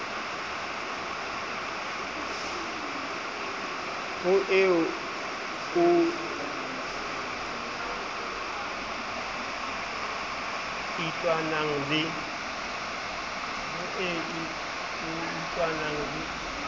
ho eo o itlwanang le